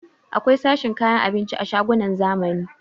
Akwai sashen kayan abinci a shagunan zamani